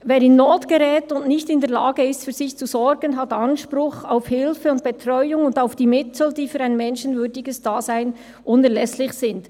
«Wer in Not gerät und nicht in der Lage ist, für sich zu sorgen, hat Anspruch auf Hilfe und Betreuung und auf die Mittel, die für ein menschenwürdiges Dasein unerlässlich sind.